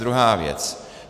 Druhá věc.